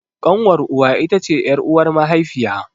Ƙanwar uwa it ce ƴar'uwar mahaifiya.